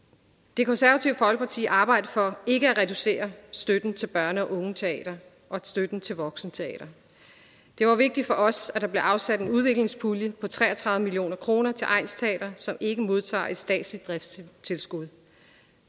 det konservative folkeparti arbejder for ikke at reducere støtten til børne og ungeteater og støtten til voksenteater det var vigtigt for os at der blev afsat en udviklingspulje på tre og tredive million kroner til egnsteater som ikke modtager et statsligt driftstilskud